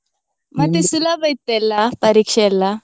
ಮತ್ತೆ ಸುಲಭ ಇತ್ತ ಎಲ್ಲ ಪರೀಕ್ಷೆ?